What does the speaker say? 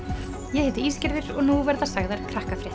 ég heiti og nú verða sagðar